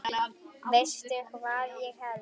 Veistu hvað ég held.